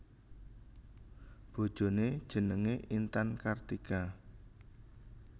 Bojoné jenengé Intan Kartika